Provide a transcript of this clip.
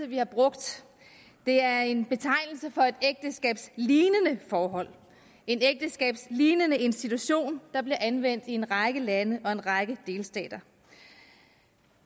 vi har brugt det er en betegnelse for et ægteskabslignende forhold en ægteskabslignende institution der bliver anvendt i en række lande og en række delstater